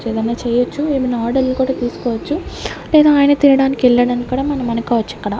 ఏదైనా చేయొచ్చు ఏమైనా ఆర్డర్లు కూడా తీసుకోవచ్చు లేదా ఆయన తేడానికి వెళ్ళాడు అని కూడా అనుకోవచ్చు ఇక్కడ.